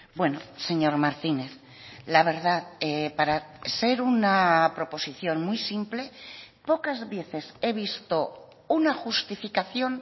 bueno señor martínez la verdad para ser una proposición muy simple pocas veces he visto una justificación